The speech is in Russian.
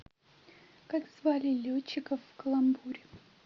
как звали летчиков в каламбуре